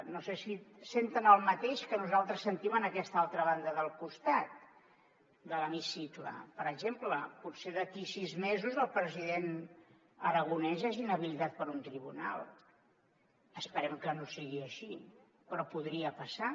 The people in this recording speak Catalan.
no sé si senten el mateix que nosaltres sentim en aquesta altra banda del costat de l’hemicicle per exemple potser d’aquí sis mesos el president aragonès és inhabilitat per un tribunal esperem que no sigui així però podria passar